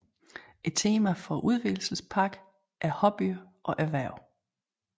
Temaet for udvidelsespakken er hobbyer og erhverv